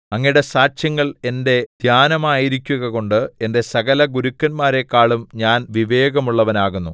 അങ്ങയുടെ സാക്ഷ്യങ്ങൾ എന്റെ ധ്യാനമായിരിക്കുകകൊണ്ട് എന്റെ സകല ഗുരുക്കന്മാരെക്കാളും ഞാൻ വിവേകമുള്ളവനാകുന്നു